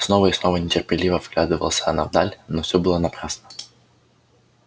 снова и снова нетерпеливо вглядывалась она вдаль но все было напрасно